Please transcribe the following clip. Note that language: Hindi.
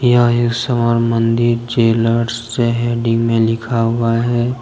यहाँ एक स्वर्ण मंदिर जेलर्स है डी में लिखा हुआ है ।